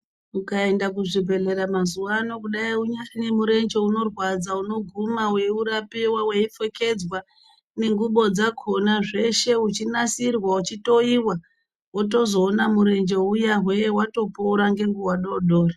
Mukaenda kuzvibhadhlera mazuwano kudai unyari nemurenje unorwadza unoguma weiurapiwa, weipfekedzwa nengubo dzakona, zveshe uchinasirwa, uchitowiwa, wotozoona murenje uya hwee watopora ngenguwa doodori.